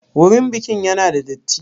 Wurin bikin ya na da datti?